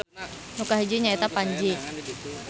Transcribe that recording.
Nu kahiji nya eta Panji